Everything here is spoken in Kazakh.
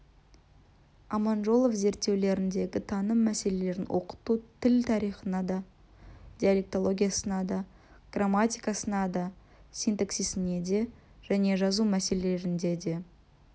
аманжолов зерттеулеріндегі таным мәселелерін оқыту тіл тарихына да диалектологиясына да грамматикасына да синтаксисінде де және жазу мәселелерінде де